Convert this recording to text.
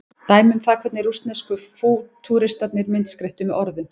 dæmi um það hvernig rússnesku fútúristarnir myndskreyttu með orðum